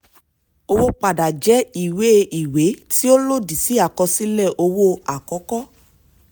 owó padà jẹ́ ìwé ìwé tí ó lòdì sí àkọsílẹ̀ owó àkọ́kọ́.